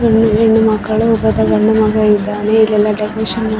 ನಮಸ್ತೆ ಎಲ್ಲರಿಗೂ ಇದು ಜನಪದ ನೃತ್ಯ ವಾಗಿದೆ .